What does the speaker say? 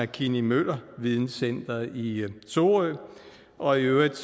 kinney møller videncenter i sorø og i øvrigt